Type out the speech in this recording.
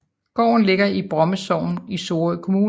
Gården ligger i Bromme Sogn i Sorø Kommune